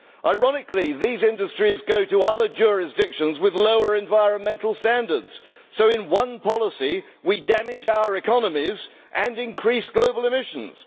Ironically these industries go to other jurisdictions with lower environmental standards so in one policy we damage our economies and increase global emissions.